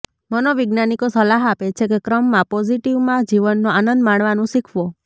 મનોવૈજ્ઞાનિકો સલાહ આપે છે કે ક્રમમાં પોઝિટિવમાં જીવનનો આનંદ માણવાનું શીખવો